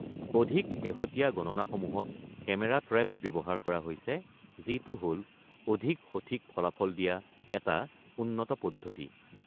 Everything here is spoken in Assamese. অধিক শেহতীয়া গণনাসমূহত কেমেৰা ট্ৰেপচ ব্যৱহাৰ কৰা হৈছে, যিটো হ'ল অধিক সঠিক ফলাফল দিয়া এটা উন্নত পদ্ধতি।